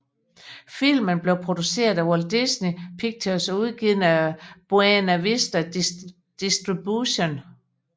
Filmen blev produceret af Walt Disney Pictures og udgivet af Buena Vista Distribution